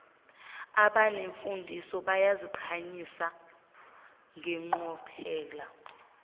abanemfundiso bayaziqhayisa ngeqophelo